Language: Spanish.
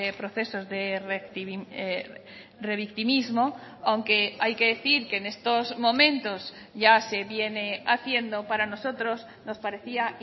procesos de revictimismo aunque hay que decir que en estos momentos ya se viene haciendo para nosotros nos parecía